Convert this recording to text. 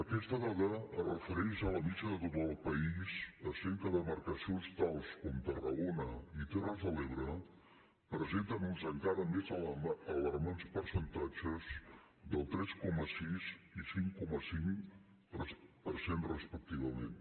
aquesta dada es refereix a la mitjana de tot el país excepte que demarcacions tals com tarragona i terres de l’ebre presenten uns encara més alarmants percentatges del tres coma sis i cinc coma cinc per cent respectivament